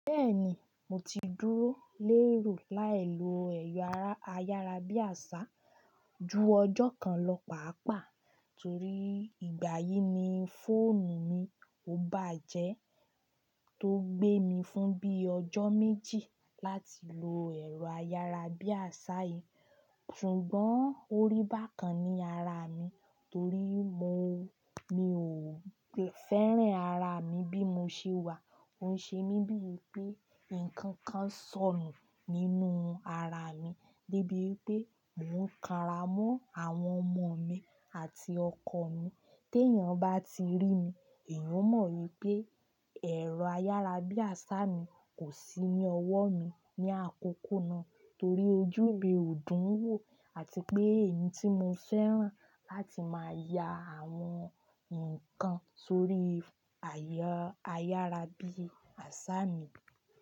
Bẹ́ẹ̀ni, mo ti dúró léèrò láì lo ẹ̀rọ ayárabíàṣá ju ọjọ́ kan lọ pàápàá torí ìgbà yìí ni fóònù mi ó bàjẹ́ tó gbé mi fún bíi ọjọ́ méjì láti lo ẹ̀rọ ayárabíàṣá yìí. Ṣùgbọ́n orí bàkan ni ara mi torí mo, mi ò fẹ́ràn ara mi bí mo ṣe wà. Ó ń ṣe mí bíi pé ǹkan kan ń sọnù nínú ara mi dé bí pé mò ń kara mọ́ àwọn ọmọ mi àti ọkọ mi. Tí èèyàn bá ti rí mi, èèyàn ó mọ̀ pé ẹ̀rọ ayárabíàṣá mi kò sí ní ọwọ́ mi ní àkókò náà torí ojú mi ò dùn wò àti pé èmi tí mo fẹ́ràn láti máa ya àwọn nǹkan sórí ẹ̀rọ ayárabíàṣá mi.